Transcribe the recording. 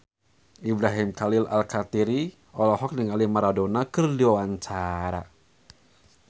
Ibrahim Khalil Alkatiri olohok ningali Maradona keur diwawancara